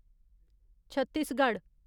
Chhattisgarh